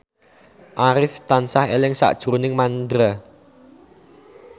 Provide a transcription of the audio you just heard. Arif tansah eling sakjroning Mandra